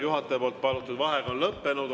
Juhataja palutud vaheaeg on lõppenud.